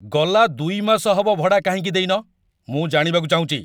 ଗଲା ୨ ମାସ ହବ ଭଡ଼ା କାହିଁକି ଦେଇନ? ମୁଁ ଜାଣିବାକୁ ଚାହୁଁଚି ।